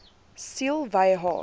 siel wy haar